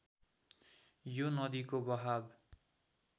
यो नदिको बहाब